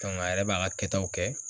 a yɛrɛ b'a ka kɛtaw kɛ